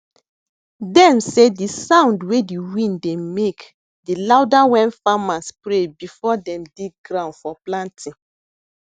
dem say de sound wey de wind dey make de louderwen farmers pray before dem dig ground for planting